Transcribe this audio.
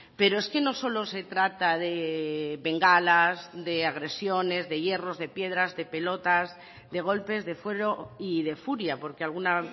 pero es que no solo se trata de bengalas de agresiones de hierros de piedras de pelotas de golpes de fuero y de furia porque alguna